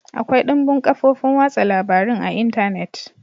Akwai dumbin kafofin watsa labarun a Intanet.